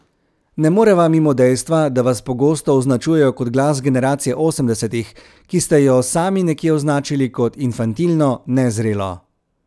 Ne moreva mimo dejstva, da vas pogosto označujejo kot glas generacije osemdesetih, ki ste jo sami nekje označili kot infantilno, nezrelo.